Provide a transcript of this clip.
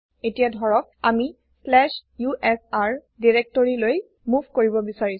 এতিযা ধৰক আমি slash USR directoryলৈ মোভ কৰিব বিচাৰিছো